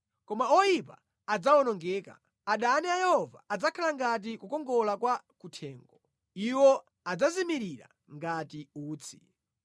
Koma oyipa adzawonongeka; adani a Yehova adzakhala ngati kukongola kwa kuthengo, iwo adzazimirira ngati utsi.